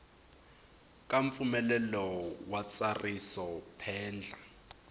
ka mpfumelelo wa ntsariso phendla